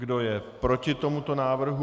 Kdo je proti tomuto návrhu?